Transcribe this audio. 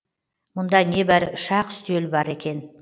мұнда небәрі үш ақ үстел бар екен